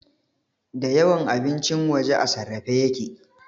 Da yawan abincin waje a sarrafe yake